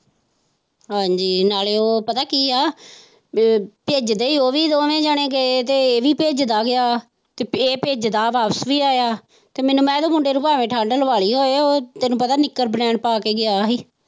ਹਾਂਜ਼ੀ ਨਾਲੇ ਉਹ ਪਤਾ ਕੀ ਹੈ ਇਹ ਭਿੱਜਦੇ ਉਹ ਵੀ ਦੋਣੇ ਜਣੇ ਗਏ ਤੇ ਇਹ ਵੀ ਭਿੱਜਦਾ ਗਿਆ ਤੇ ਇਹ ਭਿੱਜਦਾ ਵਾਪਸ ਵੀ ਆਇਆ ਤੇ ਮੈਂ ਕਿਹਾ ਮੁੰਡੇ ਨੇ ਭਾਵੇਂ ਠੰਡ ਲਵਾ ਲਈ ਹੋਵੇ ਇਹ ਤੈਨੂੰ ਪਤਾ ਨਿਕਰ ਬਨੈਣ ਪਾ ਕੇ ਗਿਆ ਹੀ।